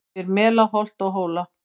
Yfir mela holt og hóla